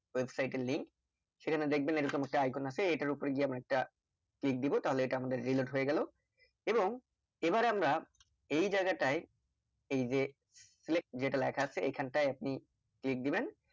website এর link সেখানে দেখবেন এইরকম একটা icon আছে এইটার ওপরে গিয়ে আমরা একটা click দিবো তাহলে এইটা আমাদের reload হয়ে গেলো এবং এবার আমরা এই জায়গায়টাই এইযে select যেটা লেখা আছে এইখানটাই আপনি click দিবেন